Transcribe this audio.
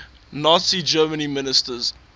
nazi germany ministers